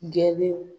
Geni